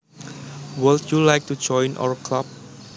Would you like to join our club